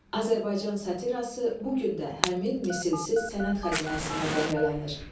Azərbaycan satiraası bu gün də həmin misilsiz sənət xəzinəsindən bəhrələnir.